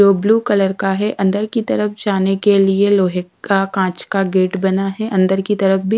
दो blue colour का है अंदर की तरफ जाने के लिए लोहे का कांच का गेट बना है अंदर की तरफ भी--